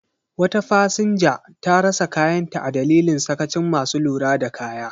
Wata fasinja ta rasa kayanta a dalilin sakacin masu lura da kaya.